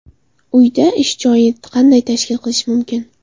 Uyda ish joyini qanday tashkil qilish mumkin?.